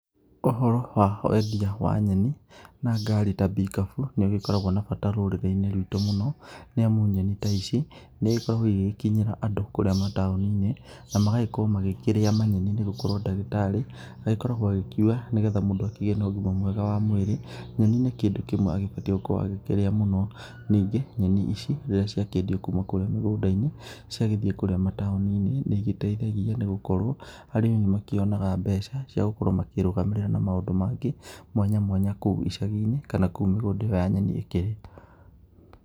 Ũhoro wa wendia wa nyeni na ngari ta mbikabu nĩgĩkoragwo na bata rũrĩrĩ-inĩ rwitũ mũno, nĩamu nyeni ta ici nĩigĩkoragwo igĩkinyĩra andũ kũrĩa mataũni-inĩ na magagĩkorwo makĩrĩa manyeni, nĩgũkorwo ndagĩtarĩ agĩkorwo agĩkiuga nĩgetha mũndũ akĩgĩe na ũgima mwega wa mwĩrĩ, nyeni nĩ kĩndũ kĩmwe agĩbatiĩ gũkorwo agĩkĩrĩa mũno, ningĩ nyeni ici rĩrĩa ciakĩendua kuuma mũgũnda-inĩ ciathi kũrĩa taũni-inĩ nĩigĩteithagia nĩgũkorwo arĩmi nĩ makĩonaga mbeca ciagũkorwo makĩrũgamĩrĩa na maũndũ mangĩ mwanya mwanya kũu icagi-inĩ kana kũu mĩgũnda ya nyeni ĩkĩrĩ.